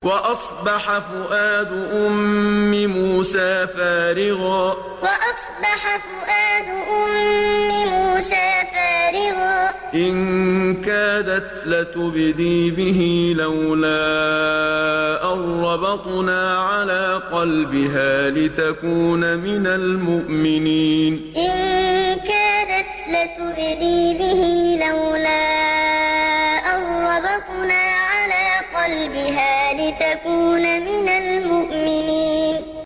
وَأَصْبَحَ فُؤَادُ أُمِّ مُوسَىٰ فَارِغًا ۖ إِن كَادَتْ لَتُبْدِي بِهِ لَوْلَا أَن رَّبَطْنَا عَلَىٰ قَلْبِهَا لِتَكُونَ مِنَ الْمُؤْمِنِينَ وَأَصْبَحَ فُؤَادُ أُمِّ مُوسَىٰ فَارِغًا ۖ إِن كَادَتْ لَتُبْدِي بِهِ لَوْلَا أَن رَّبَطْنَا عَلَىٰ قَلْبِهَا لِتَكُونَ مِنَ الْمُؤْمِنِينَ